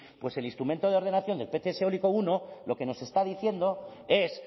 pues el instrumento de del pts eólico primero lo que nos está diciendo es